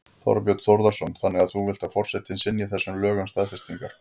Þorbjörn Þórðarson: Þannig að þú vilt að forsetinn synji þessum lögum staðfestingar?